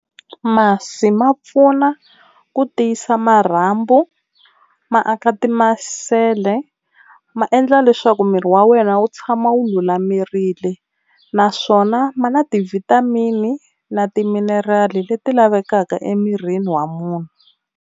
Masi ma pfuna ku tiyisa marhambu ma aka timasele, ma endla leswaku miri wa wena wu tshama wu lulamerile naswona ma na ti-vitamin na timinerali leti lavekaka emirini wa munhu.